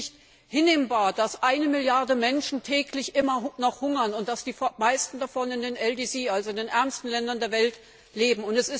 Es ist nicht hinnehmbar, dass eine Milliarde Menschen täglich immer noch hungern und dass die meisten davon noch in den LDC, also in den ärmsten Ländern der Welt leben.